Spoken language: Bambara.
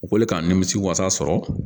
U k'o le k'an nimisi wasa sɔrɔ